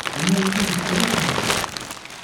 Be onyalo donjo e siasa kendo?